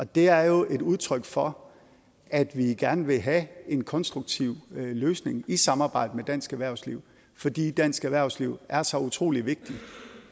det er jo et udtryk for at vi gerne vil have en konstruktiv løsning i samarbejde med dansk erhvervsliv fordi dansk erhvervsliv er så utrolig vigtigt